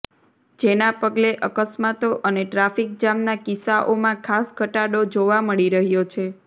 જેના પગલે અકસ્માતો અને ટ્રાફીક જામના કિસ્સાઓમાં ખાસ ઘટાડો જોવા મળી રહ્યો છે